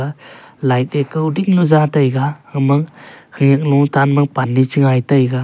light a kawding jaw taiga aga ma khenek low tan ma pan a che gai taiga.